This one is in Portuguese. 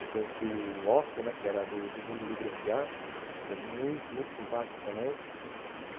Eu conheci o Otto, que era do Mundo Livre S.A., que é muito muito simpático também.